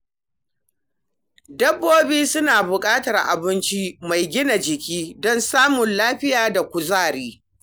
Dabbobi suna buƙatar abinci mai gina jiki don samun lafiya da kuzari.